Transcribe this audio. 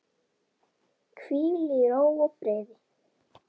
Hvíl í ró og friði.